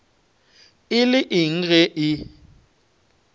e le eng ge e